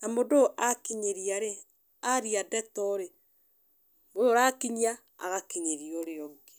Na mũndũ ũyũ akinyĩria rĩ, arĩa ndeto rĩ, ũyũ ũrakinyia agakinyĩrĩa ũrĩa ũngĩ.